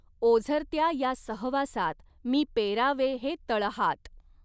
ओझरत्या या सहवासात मी पेरावे हे तळहात